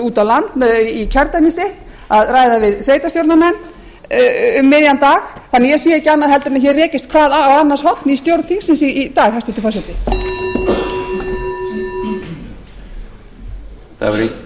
út á land i kjördæmi sitt að ræða við sveitarstjórnarmenn um miðjan dag þannig að ég sé ekki annað en hér rekist hvað á annars horn í stjórn þingsins í dag hæstvirtur forseti